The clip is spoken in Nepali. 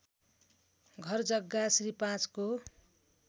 घरजग्गा श्री ५ को